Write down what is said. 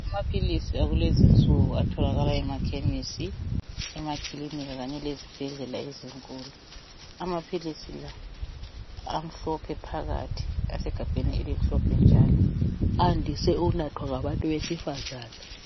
Amaphilisi akulezinsuku atholakala emakhemisi , emakilinika kanye lezibhedlela ezinkulu . Amaphilisi la amhlophe phakathi asegabheni elimhlophe njalo .Ayandise ukunathwa ngabantu besifazana .